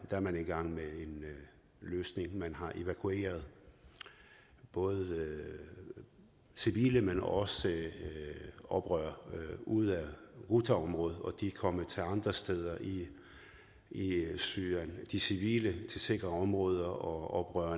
er man i gang med en løsning man har evakueret både civile men også oprørere ud af ghoutaområdet og de er kommet til andre steder i syrien de civile til sikre områder og